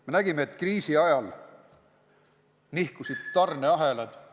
Me nägime, et kriisi ajal nihkusid tarneahelad ...